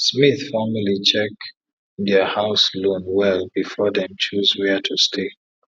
smith family check dia house loan well before dem choose were to stay